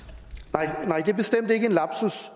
nej det er bestemt ikke en lapsus